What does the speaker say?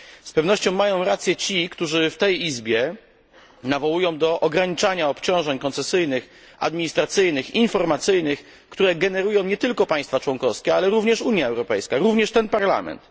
Z pewnością mają rację ci, którzy w tej izbie nawołują do ograniczania obciążeń koncesyjnych, administracyjnych, informacyjnych, które generują nie tylko państwa członkowskie, ale również Unia Europejska, również ten parlament.